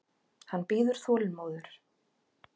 Hann bíður þolinmóður.